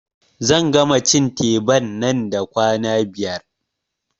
Zan gama cin teban nan da kwana biyar